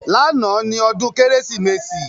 Lánàá ni ọdún Kérésìmesì